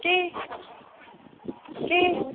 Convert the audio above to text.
ਕੀ ਕੀ?